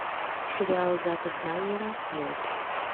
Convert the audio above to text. сериал зака снайдера лед